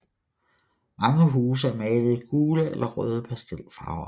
Mange huse er malet i gule eller røde pastelfarver